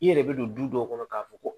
I yɛrɛ bɛ don du dɔw kɔnɔ k'a fɔ ko